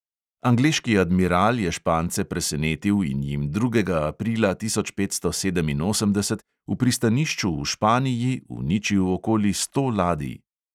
Angleški admiral je špance presenetil in jim drugega aprila tisoč petsto sedeminosemdeset v pristanišču v španiji uničil okoli sto ladij.